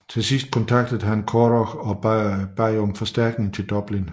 Endeligt kontaktede han Curragh og bad om forstærkning til Dublin